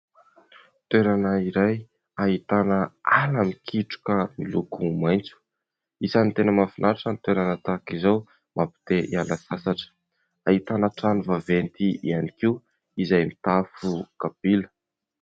Toerana iray ahitana ala mikitroka miloko maitso ; isan'ny tena mahafinatra ny toerana tahaka izao mampi te-hiala sasatra. Ahitana trano vaventy ihany koa izay mitafo kapila.